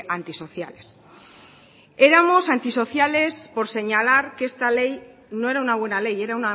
antisociales éramos antisocialespor señalar que esta ley no era una buena ley era